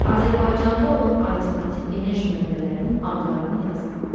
Azərbaycanda olan alternativ enerji mənbələrinin adlarını yazın.